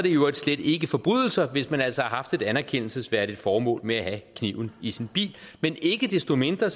i øvrigt slet ikke forbrydelser hvis man altså har haft et anerkendelsesværdigt formål med at have kniven i sin bil ikke desto mindre